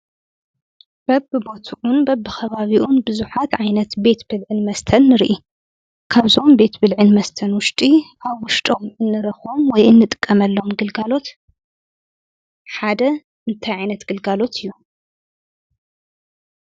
በብቦትኡን በብ ኸባቢኡን ብዙኃት ዓይነት ቤት ብልዕን መስተን ንርኢ ካብዞም ቤት ብልዕን መስተን ውሽጢ ኣ ወሽጦም እንረኾም ወይእንጥቀመሎም ግልጋሎት ሓደ እንታይ ዓይነት ግልጋሎት እዩ።